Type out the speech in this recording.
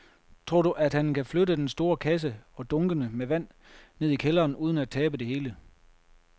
Tror du, at han kan flytte den store kasse og dunkene med vand ned i kælderen uden at tabe det hele?